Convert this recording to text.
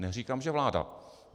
Neříkám že vláda.